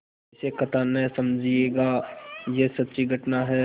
इसे कथा न समझिएगा यह सच्ची घटना है